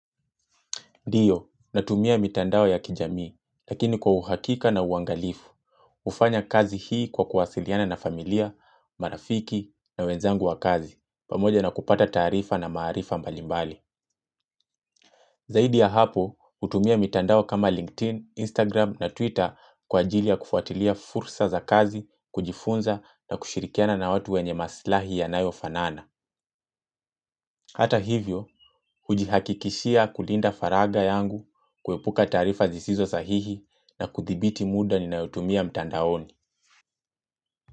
Ndio, natumia mitandao ya kijamii, lakini kwa uhakika na uangalifu, hufanya kazi hii kwa kuwasiliana na familia, marafiki na wenzangu wa kazi, pamoja na kupata taarifa na maarifa mbalimbali. Zaidi ya hapo, hutumia mitandao kama LinkedIn, Instagram na Twitter kwa ajili ya kufuatilia fursa za kazi, kujifunza na kushirikiana na watu wenye maslahi yanayofanana. Hata hivyo, hujihakikishia kulinda faraga yangu, kuepuka taarifa zisizo sahihi na kudhibiti muda ninaotumia mtandaoni.